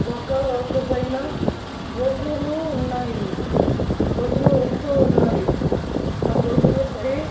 ఒక రోడ్డు పైన బొజులు ఉన్నాయి బొజులు వస్తూ ఉన్నాయి ఆ బొజులు పై --